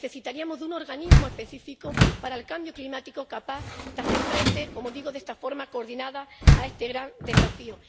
Necesitaríamos un organismo específico para el cambio climático, capaz de hacer frente —como digo, de esta forma coordinada— a este gran desafío.